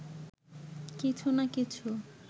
কিছু না কিছু